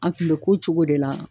An kun be k'o cogo de la